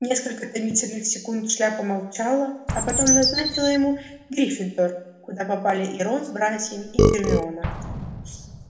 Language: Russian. несколько томительных секунд шляпа молчала а потом назначила ему гриффиндор куда попали и рон с братьями и гермиона